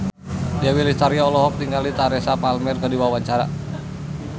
Dewi Lestari olohok ningali Teresa Palmer keur diwawancara